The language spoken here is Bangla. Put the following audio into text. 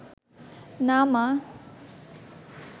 না মা